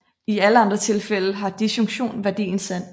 I alle andre tilfælde har disjunktion værdien sand